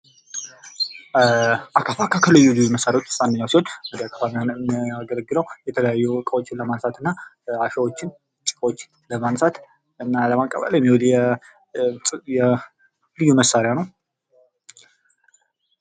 አካፋ ከልዩ ልዩ መሳሪያዎች መካከል አንዱ ሲሆን የሚያገለግለው የተለያዩ እቃዎችን ለማንሳት አሻዋዎችን ጭቃዎችን ለማንሳት እና ለመቀበል የሚውል ልዩ መሣሪያ ነው።